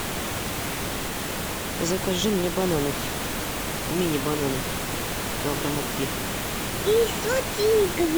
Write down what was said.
закажи мне бананов мини бананов килограмма три